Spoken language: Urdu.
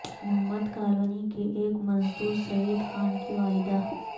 محمد کالونی کے ایک مزدور سعید خان کی والدہ